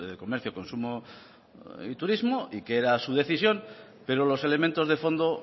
comercio consumo y turismo y que era su decisión pero los elementos de fondo